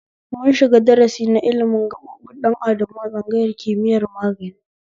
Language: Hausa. Mun shiga darasi na ilimin gaɓoɓin ɗan adamu a tsangayar kimiyar magani